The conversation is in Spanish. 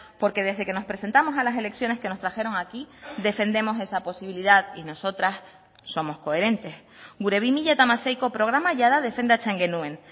porque desde que nos presentamos a las elecciones que nos trajeron aquí defendemos esa posibilidad y nosotras somos coherentes gure bi mila hamaseiko programa jada defendatzen genuen